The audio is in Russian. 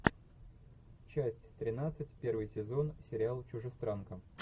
часть тринадцать первый сезон сериал чужестранка